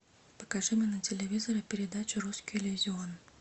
покажи мне на телевизоре передачу русский иллюзион